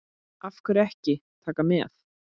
Af hverju ekki Taka með?